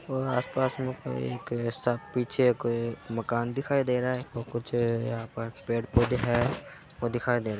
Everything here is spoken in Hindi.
और आस-पास में कई एक ऐसा पीछे कोई एक मकान दिखाई दे रहा है और कुछ यहाँ पे पेड़-पौधे हैं वो दिखाई दे --